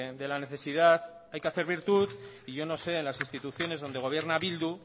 de la necesidad hay que hacer virtud y yo no sé en las instituciones donde gobierna bildu